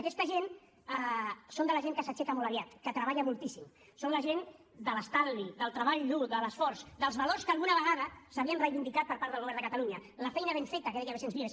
aquesta gent són de la gent que s’aixeca molt aviat que treballa moltíssim són la gent de l’estalvi del treball dur de l’esforç dels valors que alguna vegada s’havien reivindicat per part del govern de catalunya de la feina ben feta que deia vicens vives